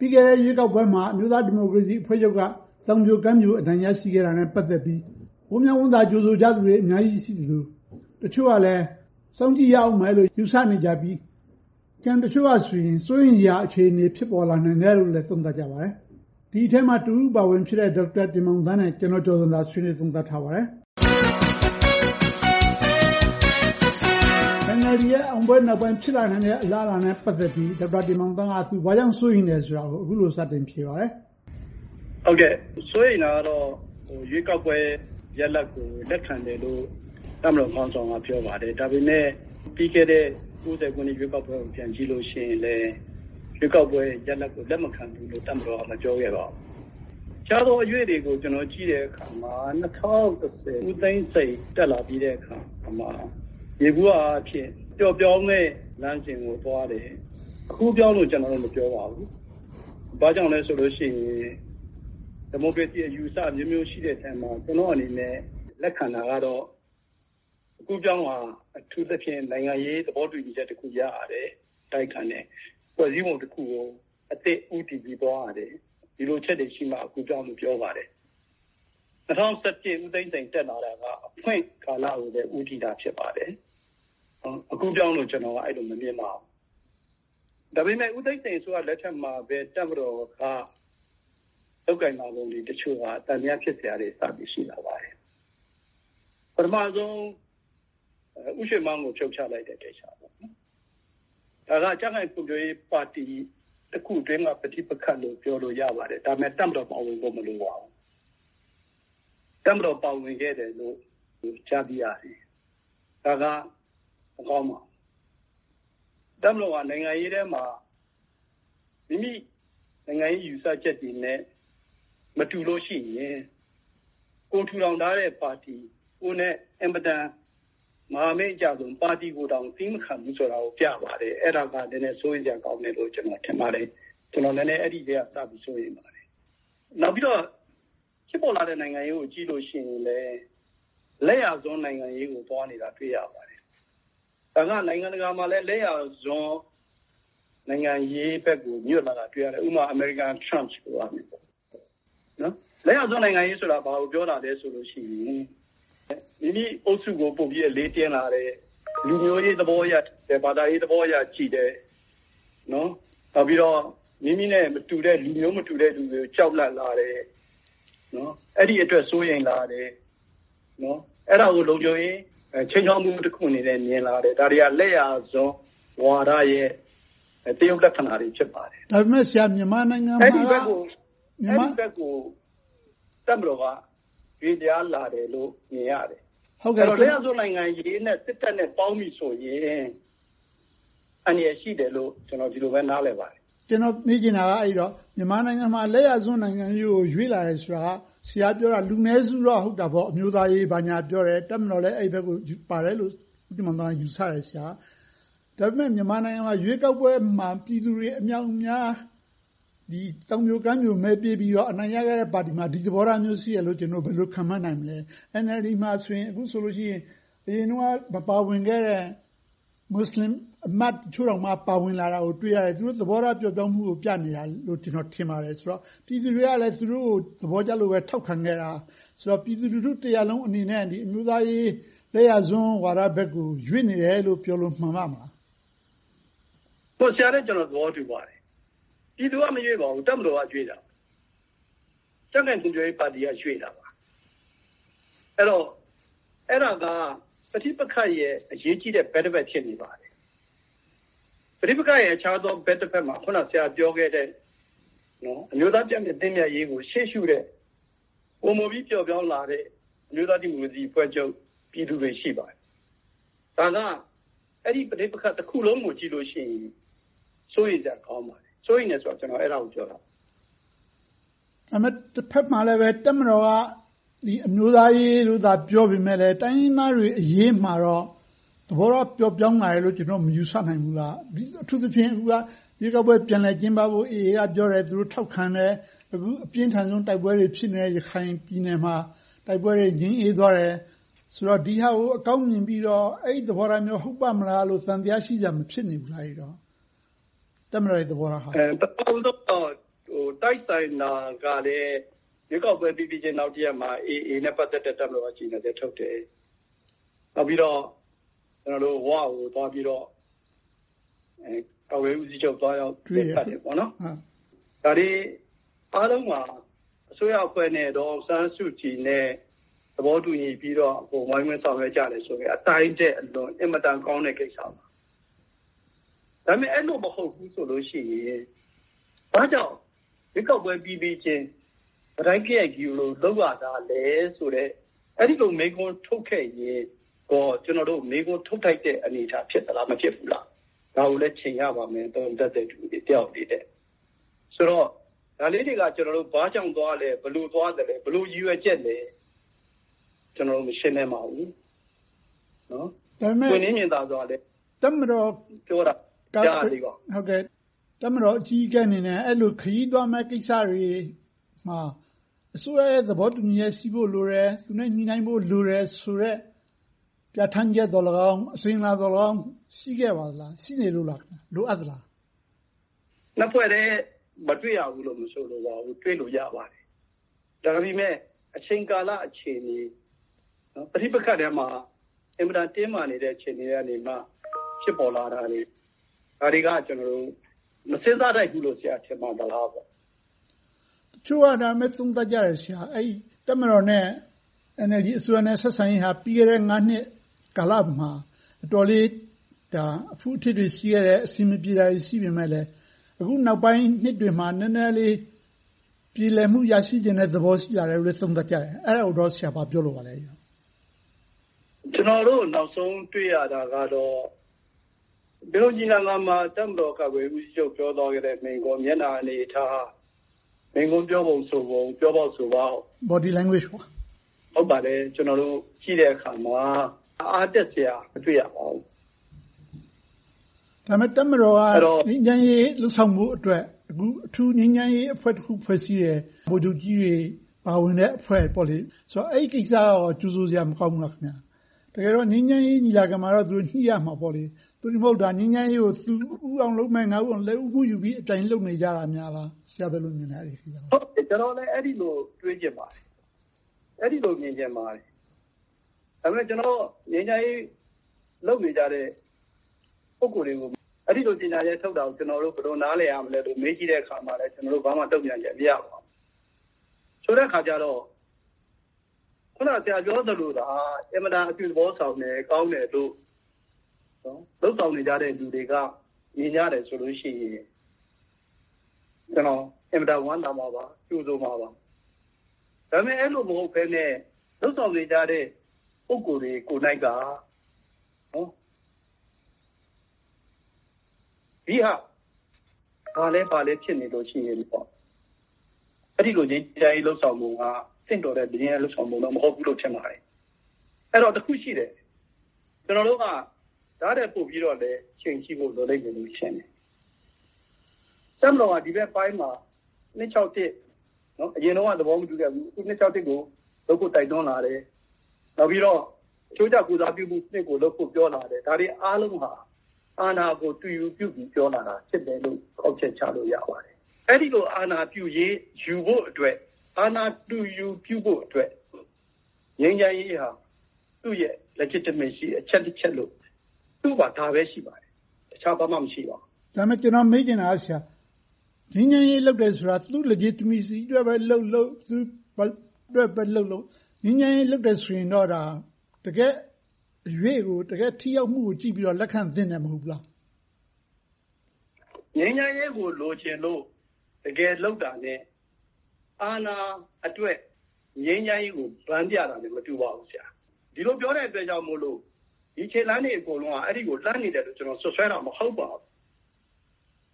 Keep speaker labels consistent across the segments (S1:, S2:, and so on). S1: ပြီးခဲ့တဲ့ ရွေးကောက်ပွဲမှာ အမျိုးသားဒီမိုကရေစီအဖွဲ့ချုပ်က သောင်ပြိုကမ်းပြို အနိုင်ရရှိခဲ့တာနဲ့ ပတ်သက်ပြီး ဝမ်းမြောက်ဝမ်းသာ ကြိုဆိုကြတဲ့လူတွေ အများကြီးရှိသလို၊ တချို့ကလဲ စောင့်ကြည့်ရအုံးမယ်လို့ ယူဆနေကြပြီး၊ ကျန်တချို့ကဆိုရင် စိုးရမ်စရာ အခြေအနေ ဖြစ်ပေါ်လာနိုင်တယ်လို့ သုံးသပ်ကြပါတယ်။ ဒီအထဲမှာ တစ်ဦးအပါအဝင်ဖြစ်တဲ့ ဒေါက်တာတင်မောင်သန်းနဲ့ ဦးကျော်ဇံသာတို့ ဆွေးနွေးသုံးသပ်ထားပါတယ်။ NLD ရဲ့ အောင်ပွဲနောက်ပိုင်း ဖြစ်လာနိုင်တဲ့ အလားအလာနဲ့ ပတ်သက်ပြီး ဒေါက်တာတင်မောင်သန်းက သူဘာကြောင့် စိုးရိမ်တယ်ဆိုတာကို အခုလိုစတင်ဖြေပါတယ်။
S2: စိုးရိမ်တာကတော့ ရွေးကောက်ပွဲရလဒ်ကို လက်ခံတယ်လို့ တပ်မတော်ခေါင်းဆောင်က ပြောပါတယ်။ ဒါပေမဲ့ ပြီးခဲ့တဲ့ ၉၀ ရွေးကောက်ပွဲကို ပြန်ကြည့်ရင်လဲ ရွေးကောက်ပွဲရလဒ်ကို လက်မခံဘူးလို့ တပ်မတော်က မပြောခဲ့ပါဘူး။ အခြားသောအရွေ့တွေကို ကျနော် ကြည့်တဲ့အခါမှာ ၂၀၁၀ ဦးသိန်းစိန် တက်လာပြီးတဲ့အခါမှာ ယေဘုယျအားဖြင့် ပျော့ပျောင်းတဲ့ လမ်းစဉ်ကို သွားခဲ့တယ်။ အကူးအပြောင်းကို မပြောပါဘူး။ ဘာကြောင့်လဲဆိုရင် ဒီမိုကရေစီ အယူအဆ အမျိုးမျိုးရှိတဲ့အထဲမှာ ကျနော့်အနေနဲ့ လက်ခံတာကတော့ အကူးအပြောင်းဟာ အထူးသဖြင့် နိုင်ငံရေးသဘောတူညီမှုတစ်ခု အတိုက်အခံနဲ့ ရယူရတယ်။ ဖွဲ့စည်းပုံတစ်ခုကို အသစ်ဦးတည်ပြီးတော့ သွားရတယ်။ ဒီလိုအချက်တွေရှိမှ အကူးအပြောင်းလို့ ပြောပါတယ်။ ၂၀၁၁ ဦးသိန်းစိန်တက်လာတာက အဖွင့်ကာလကို ဦးတည်တာ ဖြစ်ပါတယ်။ အကူးအပြောင်းလို့ အဲဒီလို ကျနော်က မမြင်ပါဘူး။ ဒါပေမဲ့ ဦးသိန်းစိန်အစိုးရလက်ထက်မှာပဲ တပ်မတော်က လုပ်ကိုင်လာပုံတစ်ချို့က သံသယ ဖြစ်စရာတွေ စပြီးရှိလာပါတယ်။ ပထမဦးဆုံး ဦးရွှေမန်းကို ဖြုတ်ချလိုက်တယ်။ ဒါက ကြံ့ခိုင်ဖွံ့ဖြိုးရေးပါတီတစ်ခုအတွင်းက ပဋိပက္ခလို့ ပြောလို့ရပါတယ်။ ဒါပေမဲ့ တပ်မတော်ပါဝင်ဖို့ မလိုပါဘူး။ တပ်မတော်ပါဝင်ခဲ့တယ်လို့ ကြားသိရတယ်။ ဒါက မကောင်းပါဘူး။ တပ်မတော်က နိုင်ငံရေးထဲမှာ မိမိ နိုင်ငံရေးယူဆချက်တွေနဲ့ မတူလို့ရှိရင် ကိုယ်ထူထောင်ထားတဲ့ပါတီ၊ ကိုယ်နဲ့ အင်မတန်မဟာမိတ်အကျဆုံး ပါတီကိုတောင် သည်းမခံဘူးဆိုတာကို ပြပါတယ်။ အဲဒါက နည်းနည်းစိုးရိမ်စရာကောင်းတယ်လို့ ကျနော်ထင်ပါတယ်။ အဲဒီကတည်းက စပြီးတော့ စိုးရိမ်ပါတယ်။ နောက်ပြီးတော့ ဖြစ်ပေါ်လာတဲ့ နိုင်ငံရေးကို ကြည့်လို့ရှိရင် လက်ယျာစွန်း နိုင်ငံရေးကို သွားနေတာကို တွေ့ရပါတယ်။ ဒါက နိုင်ငံတကာမှာလည်း လက်ယျာစွန်း နိုင်ငံရေးဘက်ကို ညွှတ်လာတာကို တွေ့ရတယ်။ ဥပမာ အမေရိကန်ထရမ့်လိုမျိုးပေါ့။ လက်ယျာစွန်းနိုင်ငံရေးဆိုတာ ဘာကိုပြောလာသလဲဆိုတော့ မိမိအုပ်စုကို ပိုပြီးအလေးပေးလာတယ်။ လူမျိုးရေးသဘောအရ၊ ဘာသာရေးသဘောအရ ကြည့်တယ်။ နောက်ပြီးတော့ မိမိတဲ့ မတူတဲ့၊ လူမျိုးဘာသာမတူတဲ့ လူတွေကို ကြောက်လန့်လာတယ်။ အဲဒီအတွက် စိုးရိမ်လာတယ်။ အဲဒါကို လုံခြုံရေးခြိမ်းခြောက်မှု တစ်ခုအနေနဲ့ မြင်လာတယ်။ ဒါတွေက လက်ယျာစွန်းဝါဒရဲ့ သရုပ်လက္ခဏာတွေ ဖြစ်ပါတယ်။ အဲဒီဘက်ကို တပ်မတော်က ရွေ့လျားလာတယ်လို့ မြင်ရတယ်။ လက်ယျာစွန်းနိုင်ငံရေးနဲ့ စစ်တပ်နဲ့ပေါင်းပြီးဆိုရင် အန္တရာယ်ရှိတယ်လို့ ကျနော် ဒီလိုပဲ နားလည်ပါတယ်။
S1: ဒါပေမဲ့ မြန်မာနိုင်ငံမှာ လက်ယျာစွန်းနိုင်ငံရေးကို ရွေ့လာတယ်ဆိုတာက ဆရာပြောတာ လူနည်းစုတော့ ဟုတ်တာပေါ့ - အမျိုးသားရေး ဘာညာပြောတယ်။ တပ်မတော်လည်း အဲဒီဘက်ကို ပါတယ်လို့ ဦးတင်မောင်သန်းက ယူဆတယ်။ ဒါပေမဲ့ မြန်မာနိုင်ငံမှာ ရွေးကောက်ပွဲမှာ ပြည်သူတွေ အမြောက်အမြားက သောင်ပြိုကမ်းပြို မဲပေးပြီးတော့ အနိုင်ရခဲ့တဲ့ပါတီမှာ ဒီလိုသဘောထားမျိုး ရှိတယ်လို့ ဘယ်လိုခန့်မှန်းနိုင်သလဲ။ NLD မှာဆိုရင် အခုဆိုရင် အရင်တုန်းက မပါဝင်ခဲ့တဲ့ မူစလင်အမတ်တချို့တောင်မှ ပါဝင်လာတာကို တွေ့ရတယ်။ သူတို့သဘောထားပျော့ပျောင်းမှုကို ပြနေတာလို့ ကျနော် ထင်ပါတယ်။ ပြည်သူတွေကလည်း သူတို့ကို သဘောကျလို့ပဲ ထောက်ခံခဲ့တာဆိုတော့ ပြည်သူလူထုတစ်ရပ်လုံးအနေနဲ့ အမျိုးသားရေး လက်ယျာစွန်းဝါဒဘက်ကို ရွေ့နေတယ်လို့ ပြောလို့မှန်ပါ့မလား။
S2: ဆရာနဲ့ကျနော် သဘောတူပါတယ်။ ပြည်သူက မရွေ့ပါဘူး။ တပ်မတော်က ရွေ့တာပါ။ တပ်နဲ့ပါတီက ရွေ့တာပါ။ အဲဒါက ပဋိပက္ခရဲ့ အရေးကြီးတဲ့ ဘက်တစ်ဖက် ဖြစ်နေပါတယ်။ ပဋိပက္ခရဲ့ အခြားသော ဘက်တစ်ဖက်မှာ အခုနေ ဆရာပြောခဲ့တဲ့ အမျိုးသားပြန်လည်သင့်မြတ်ရေးကို ရှေ့ရှုတဲ့၊ ပိုပြီးပျော့ပျောင်းလာတဲ့ အမျိုးသားဒီမိုကရေစီအဖွဲ့ချုပ် ပြည်သူတွေ ရှိပါတယ်။ ဒါက အဲဒီပဋိပက္ခ တစ်ခုလုံးကိုကြည့်လိုက်ရင် စိုးရိမ်စရာ ကောင်းပါတယ်။ စိုးရိမ်တယ်ဆိုတာက အဲဒါကို ပြောတာပါ။
S1: ဒါပေမဲ့ တစ်ဘက်မှာလဲ တပ်မတော်က အမျိုးသားရေးလို့သာ ပြောပေမယ့်လဲ တိုင်းရင်းသားတွေအရေးမှာတော့ သဘောထားပျော့ပျောင်းလာတယ်လို့ ကျနော်တို့ မယူဆနိုင်ဘူးလား။ အထူးသဖြင့် ရွေးကောက်ပွဲ ပြန်လည်ကျင်းပနိုင်ဖို့ AA က ပြောတယ်။ တပ်မတော်က ထောက်ခံတယ်။ အခု အပြင်းအထန်ဆုံး တိုက်ပွဲတွေဖြစ်နေတဲ့ ရခိုင်ပြည်နယ်မှာ တိုက်ပွဲတွေ ငြိမ်းအေးသွားတယ်။ ဆိုတော့ ဒီဟာကို အကောင်းမြင်ပြီးတော့ အဲဒီသဘောထားမျိုး ဟုတ်ပါ့မလားဆိုပြီး သံသယ ရှိစရာ ဖြစ်မနေဘူးလား။
S2: တိုက်ဆိုင်တာကလဲ ရွေးကောက်ပွဲပြီးပြီချင်း နောက်တစ်ရက်မှာ AA နဲ့ ပတ်သက်တဲ့ ကြေညာချက်တစ်ရပ် တပ်မတော်က ထုတ်ပြန်တယ်။ နောက်ပြီးတော့ ဝကိုသွားပြီးတော့ ကာကွယ်ရေးဦးစီးချုပ်က သွားတွေ့တယ်။ ဒါတွေအားလုံးမှာ အစိုးရအဖွဲ့နဲ့ ဒေါ်အောင်ဆန်းစုကြည်နဲ့ သဘောတူညီပြီးတော့ ဝိုင်းဝန်းဆောင်ရွက်ကြတယ်ဆိုရင် အတိုင်းထက်အလွန် အင်မတန်ကောင်းတဲ့ ကိစ္စပါ။ ဒါပေမဲ့ အဲဒီလိုမဟုတ်ဘူးဆိုရင် ဘာကြောင့် ရွေးကောက်ပွဲပြီးပြီချင်း ကတိုက်ကရိုက်ကြီး လုပ်ရတာလဲဆိုတဲ့ အဲဒီလိုမေးခွန်းမျိုး ထုတ်ခဲ့ရင်ကော ကျနော်တို့ မေးခွန်းထုတ်ထိုက်တဲ့ အနေအထား ဖြစ်သလား။ မဖြစ်ဘူးလား။ ဒါကိုလဲ ချိန်းရပါတယ်။ သုံးသပ်တဲ့ လူတစ်ယောက်အနေနဲ့။ ဆိုတော့ ဒါလေးတွေက ဘာကြောင့်သွားလဲ။ ဘယ်လိုသွားသလဲ။ ဘယ်လိုရည်ရွယ်ချက်လဲ။ ကျနော်တို့ မရှင်းလင်းပါဘူး။ ပွင့်လင်းမြင်သာစွာ ပြောတာတွေလည်း မကြားရသေးပါဘူး။
S1: ဒါပေမဲ့ တပ်မတော်အကြီးအကဲတစ်ယောက်အနေနဲ့ အဲဒီလို ခရီးသွားမယ့်ကိစ္စတွေမှာ အစိုးရရဲ့ သဘောတူညီချက် ရှိဖို့လိုတယ်။ ညှိနှိုင်းဖို့လိုတယ်ဆိုတဲ့ ပြဌာန်းချက်သောလည်းကောင်း၊ အစဉ်အလာသောလည်းကောင်း ရှိခဲ့ပါသလား။ ရှိနေသလား။ လိုအပ်ပါသလား။
S2: နှစ်ဖွဲ့ထဲ မတွေ့ရဘူးလို့ မဆိုလိုပါဘူး။ တွေ့လို့ရပါတယ်။ ဒါပေမဲ့ အချိန်ကာလအခြေအနေ ပဋိပက္ခထဲမှာ အင်မတန် တင်းမာနေတဲ့ အခြေအနေကနေမှ ဖြစ်ပေါ်လာနေတာတွေ ဒါတွေက ကျနော်တို့ မစဉ်းစားထိုက်ဘူးလို့ ဆရာ ထင်ပါသလား။
S1: တချို့က သုံးသပ်ကြတယ် တပ်မတော်နဲ့ NLD အစိုးရတို့ ဆက်ဆံရေးက ပြီးခဲ့တဲ့ နှစ်ကာလမှာ အတော်လေး အဖုအထစ်တွေ ရှိခဲ့တယ်။ အဆင်မပြေတာတွေ ရှိခဲ့ပေမယ့်လဲ အခုနောက်ပိုင်းနှစ်တွေမှာ နည်းနည်းလေး ပြေလည်မှု ရရှိချင်တဲ့သဘော ရှိလာတယ်လို့ သုံးသပ်ကြတယ်။ အဲဒါကို ဆရာ ဘာပြောလိုပါလဲ။
S2: ကျနော်တို့ နောက်ဆုံးတွေ့ရတာကတော့ ပင်လုံညီလာခံမှာ တပ်မတော်ကာကွယ်ရေးဦးစီးချုပ် ပြောသွားတဲ့မိန့်ခွန်း၊ မျက်နှာအနေအထား၊ မိန့်ခွန်းပြောပုံဆိုပုံ၊ ပြောပေါက်ဆိုပေါက်တွေကို ကြည့်တဲ့အခါမှာ အားတက်စရာ မတွေ့ရပါဘူး။
S1: ဒါပေမဲ့ တပ်မတော်က ငြိမ်းချမ်းရေးလုပ်ဆောင်ဖို့အတွက် အခု အထူးငြိမ်းချမ်းရေးအဖွဲ့တစ်ဖွဲ့ ဖွဲ့စည်းခဲ့တယ်။ ဗိုလ်ချုပ်ကြီးတွေ ပါဝင်တဲ့အဖွဲ့ ဖြစ်တယ်။ ဆိုတော့ အဲဒီကိစ္စကိုရော ကြိုဆိုစရာ မကောင်းဘူးလား။ တကယ်တော့ ငြိမ်းချမ်းရေးညီလာခံမှာတော့ သူတို့ ညှိရမှာပေါ့။ သို့တည်းမဟုတ် ငြိမ်းချမ်းရေးကို သူ ဦးအောင်လုပ်မယ်၊ ငါ ဦးအောင်လုပ်မယ်ဆိုပြီး လက်ဦးမှုယူပြီး အပြိုင်လုပ်နေကြတာလား။ ဆရာ ဘယ်လိုမြင်ပါသလဲ အဲဒီကိစ္စကို။
S2: ကျနော်လည်း အဲဒီလို တွေးချင်ပါတယ်။ အဲဒီလို မြင်ချင်ပါတယ်။ ဒါပေမဲ့ ငြိမ်းချမ်းရေးလုပ်နေကြတဲ့ ပုဂ္ဂိုလ်တွေကို အဲဒီလို ကြေညာချက်ထုတ်တာကို ဘယ်လို နားလည်ရမလဲလို့ မေးကြည့်တဲ့အခါမှာ ကျနော်တို့ ဘာမှတုံ့ပြန်ချက် မရပါဘူး။ ဆိုတဲ့အခါကြတော့ အခုန ဆရာပြောသလိုသာ အင်မတန် အပြုသဘောဆောင်တဲ့ ကောင်းတယ်လို့ လုပ်ဆောင်နေကြတဲ့ လူတွေက မြင်ကြတယ်ဆိုရင် ကျနော် အင်မတန် ဝမ်းသာမှာပါ။ ကြိုဆိုမှာပါ။ ဒါပေမဲ့ အဲဒီလို မဟုတ်ဘဲနဲ့ လုပ်ဆောင်နေကြတဲ့ ပုဂ္ဂိုလ်တွေကိုယ်တိုင်က ဒွိဟ ဘာလဲဘယ်လိုလဲ ဖြစ်နေလို့ရှိရင် အဲဒီလို ငြိမ်းချမ်းရေး လုပ်ဆောင်ဖို့က သင့်တော်တဲ့ ငြိမ်းချမ်းရေး လုပ်ဆောင်မှုလို့ မဟုတ်ဘူးလို့ ထင်ပါတယ်။ အဲဒီတော့ တစ်ခုရှိတယ် ကျနော်တို့က ဒါထက်ပိုပြီးတော့လဲ ချိန်ကြည့်ဖို့ လိုလိမ့်မယ်လို့ ထင်တယ်။ တပ်မတော်က ဒီဘက်ပိုင်းမှာ အရင်တုန်းက သဘောမတူဘူး။ အခု ကို လုပ်ဖို့တိုက်တွန်းလာတယ်။ နောက်ပြီးတော့ အချိုးကျ ကိုယ်စားပြုမှုစနစ်ကို လုပ်ဖို့ ပြောလာတယ်။ ဒါတွေအားလုံးဟာ အာဏာကို အသွင်ယူပြုပြီး ပြောလာတာ ဖြစ်တယ်လို့ ကောက်ချက်ချလို့ ရပါတယ်။ အဲဒီလို အာဏာပြုရေး ယူဖို့အတွက် အာဏာတူယူပြုဖို့အတွက် ငြိမ်းချမ်းရေးဟာ သူ့ရဲ့ Legitimacy အချက်လို့ သူ့မှာ ဒါပဲရှိပါတယ်။ တခြားဘာမှ မရှိပါဘူး။
S1: ဒါပေမဲ့ ကျနော်မေးချင်တာက ငြိမ်းချမ်းရေးလုပ်တယ်ဆိုတာ သူ့ Legitimacy အတွက်ပဲလုပ်လုပ်၊ ဘယ်သူ့အတွက်ပဲလုပ်လုပ် ငြိမ်းချမ်းရေး လုပ်တယ်ဆိုရင်တော့ တကယ့်အရွေ့ကို တကယ့်ထိရောက်မှုကို ကြည့်ပြီးတော့ လက်ခံသင့်တယ် မဟုတ်ဘူးလား။
S2: ငြိမ်းချမ်းရေးကို လိုချင်လို့ တကယ်လုပ်တာနဲ့ အာဏာအတွက် ငြိမ်းချမ်းရေးကို ဘန်းပြတာက မတူပါဘူး။ ဒီလိုပြောတဲ့အတွက်ကြောင့်မို့ ဒီခြေလှမ်းတွေ အကုန်လုံးက အဲဒီကို လှမ်းနေတယ်လို့ ကျနော် စွပ်စွဲတာ မဟုတ်ပါဘူး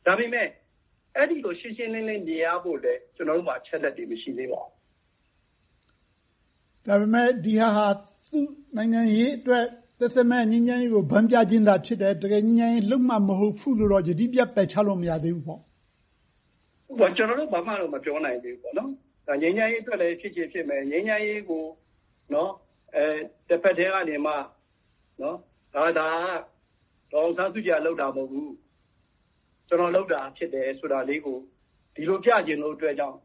S2: ။ ဒါပေမဲ့ အဲဒီလို ရှင်းရှင်းလင်းလင်း မြင်ရဖို့လဲ ကျနော်တို့မှာ အချက်အလက်တွေ မရှိသေးပါဘူး။
S1: ဒါပေမဲ့ ဒီဟာက သူ့နိုင်ငံရေးအတွက် သက်သက်မဲ့ ငြိမ်းချမ်းရေးကို ဘန်းပြခြင်းသာ ဖြစ်တယ်။ ငြိမ်းချမ်းရေးကို တကယ်လုပ်မှာ မဟုတ်ဘူးလို့ ယတိပြတ် ပယ်ချလို့တော့ မရသေးဘူးပေါ့။
S2: ကျနော်တို့ ဘာမှတော့ ပြောလို့မရသေးပါဘူး။ ငြိမ်းချမ်းရေးအတွက်လဲ ဖြစ်ချင်ဖြစ်မယ်။ ငြိမ်းချမ်းရေးကို တဘက်တည်းက ဒါက ဒေါ်အောင်ဆန်းစုကြည် လုပ်တာမဟုတ်ဘူး။ ကျနော်လုပ်တာ ဖြစ်တယ်ဆိုတယ်ဆိုတာလေးကို ဒီလိုပြချင်တဲ့အတွက်ကြောင့်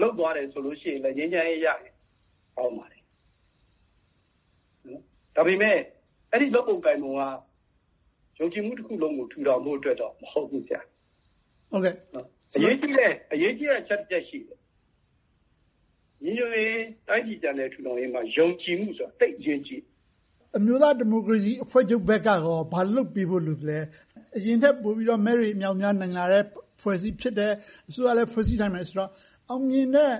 S2: လုပ်သွားတယ်ဆိုလို့ရှိရင် ငြိမ်းချမ်းရေးရရင် ကောင်းပါတယ်။ ဒါပေမဲ့ အဲဒီလို လုပ်ပုံကိုင်ပုံက ယုံကြည်မှုတစ်ခုလုံးကို ထူထောင်ဖို့အတွက်တော့ မဟုတ်ဘူး။ အရေးကြီးတဲ့ အချက်တစ်ချက် ရှိတယ်။ ညီညွှတ်ရေး၊ တိုင်းပြည်ပြန်လည်ထူထောင်ရေးမှာ ယုံကြည်မှုဆိုတာ သိပ်အရေးကြီးတယ်။
S1: အမျိုးသားဒီမိုကရေစီအဖွဲ့ချုပ်ဘက်ကရော ဘာလုပ်ပေးဖို့ လိုသလဲ။ အရင်ထက်ပိုပြီးတော့ မဲတွေ အမြောက်အမြား နိုင်လာတဲ့ အဖွဲ့အစည်း ဖြစ်တယ်။ အစိုးရလည်း ဖွဲ့စည်းနိုင်မယ်ဆိုတော့ အောင်မြင်တဲ့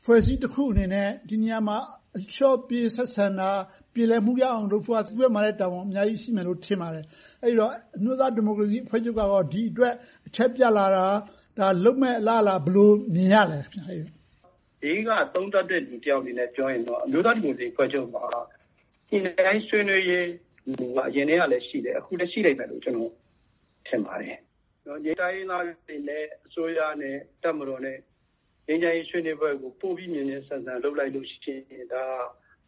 S1: အဖွဲ့အစည်းတစ်ခုအနေနဲ့ ဒီနေရာမှာ အလျှော့ပေး ဆက်ဆံတာ၊ ပြေလည်မှုရအောင် လုပ်ဖို့က သူတို့မှာလဲ တာဝန်အများကြီး ရှိမယ်လို့ ထင်ပါတယ်။ အဲဒီတော့ အမျိုးသားဒီမိုကရေစီအဖွဲ့ချုပ်က ဒီအတွက် အချက်ပြလာတာ၊ လုပ်မယ့်အလားအလာ ဘယ်လိုမြင်ရသလဲ။
S2: ဘေးကနေ သုံးသပ်တဲ့လူတစ်ယောက်အနေနဲ့ ပြောရရင်တော့ အမျိုးသားဒီမိုကရေစီအဖွဲ့ချုပ်မှာ ညှိနှိုင်းဆွေးနွေးရေး မူဝါဒက အရင်ကလဲရှိတယ်။ အခုလဲ ရှိလိမ့်မယ်လို့ ကျနော် ထင်ပါတယ်။ တိုင်းရင်းသားတွေနဲ့ အစိုးရနဲ့ တပ်မတော်နဲ့ ငြိမ်းချမ်းရေး ဆွေးနွေးပွဲကို ပိုပြီးတော့ မြန်မြန်ဆန်ဆန် လုပ်နိုင်လို့ရှိရင် ဒါက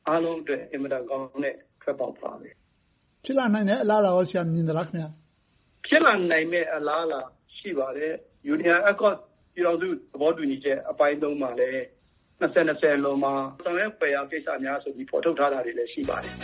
S2: အားလုံးအတွက် အင်မတန်ကောင်းတဲ့ ထွက်ပေါက်ပါပဲ။
S1: ဖြစ်လာနိုင်မယ့် အလားအလာကော မြင်ပါသလား။
S2: ဖြစ်လာနိုင်မယ့် အလားအလာ ရှိပါတယ်။ Union Accord ပြည်ထောင်စု သဘောတူညီချက် အပိုင်း မှာလည်း ၂၀၂၀ အလွန်မှာ ဆောင်ရွက်ဖွယ်ရာ ကိစ္စရပ်များဆိုပြီး ဖော်ထုတ်ထားတာတွေလည်း ရှိပါတယ်။